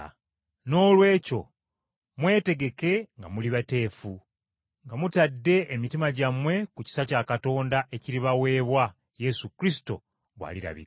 Noolwekyo mwetegeke nga muli bateefu, nga mutadde emitima gyammwe ku kisa kya Katonda ekiribaweebwa, Yesu Kristo bw’alirabika.